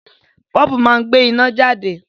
Bọ́ọ̀bù máa ń gbé iná jáde